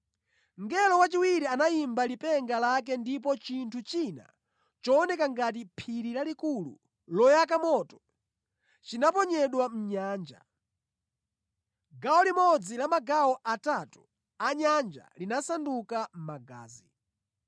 Mngelo wachiwiri anayimba lipenga lake, ndipo chinthu china chooneka ngati phiri lalikulu loyaka moto, chinaponyedwa mʼnyanja. Gawo limodzi la magawo atatu a nyanja linasanduka magazi.